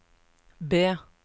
B